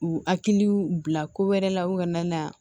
U hakiliw bila ko wɛrɛ la u kana na